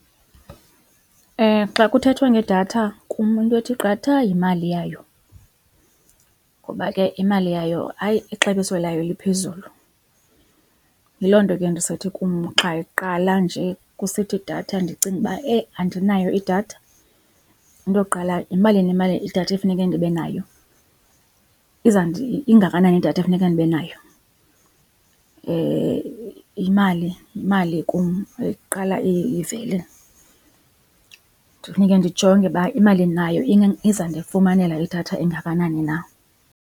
xa kuthethwa ngedatha kum into ethi qatha yimali yayo ngoba ke imali yayo hayi ixabiso layo liphezulu. Yiloo nto ke ndisithi kum xa iqala nje kusithi datha ndicinge uba eyi andinayo idatha. Into yokuqala yimalini imali, idatha ekufuneke ndibe nayo? Ingakanani idatha ekufuneka ndibe nayo? Imali, yimali kum eqala ivele. Ndifuneke ndijonge uba imali endinayo izandifumanela idatha engakanani na.